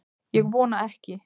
Ég vona ekki